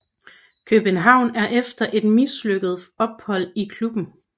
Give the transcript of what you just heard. København efter et mislykket ophold i klubben